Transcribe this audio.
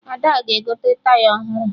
Ada ga-egote Taya ọhụrụ